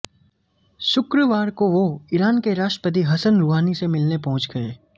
शुक्रवार को वो ईरान के राष्ट्रपति हसन रूहानी से मिलने पहुंच गए